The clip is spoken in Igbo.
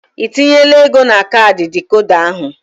Ị tinyela ego na kaadị dịkoda ahụ?